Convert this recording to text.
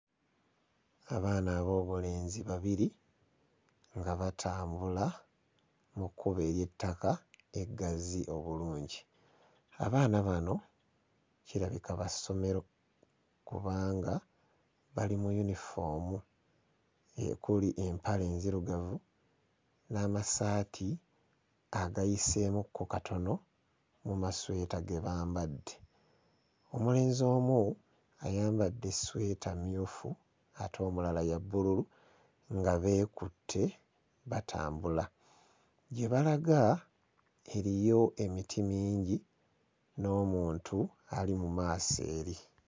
Abaana ab'obulenzi babiri nga batambula mu kkubo ery'ettaka eggazi obulungi abaana bano kirabika ba ssomero kubanga bali mu yunifoomu ekuli empale enzirugavu n'amasaati agayiseemukko katono mu masweta ge bambadde omulenzi omu ayambadde essweta mmyufu ate omulala ya bbululu nga beekutte batambula gye balaga eriyo emiti mingi n'omuntu ali mu maaso eri.